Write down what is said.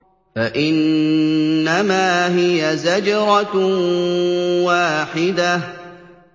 فَإِنَّمَا هِيَ زَجْرَةٌ وَاحِدَةٌ